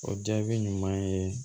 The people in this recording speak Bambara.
O jaabi ɲuman ye